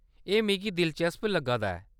एह्‌‌ मिगी दिलचस्प लग्गा दा ऐ।